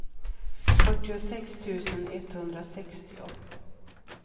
fyrtiosex tusen etthundrasextio